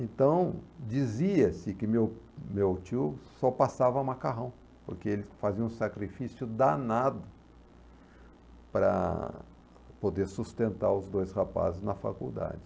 Então, dizia-se que meu meu tio só passava macarrão, porque ele fazia um sacrifício danado para poder sustentar os dois rapazes na faculdade.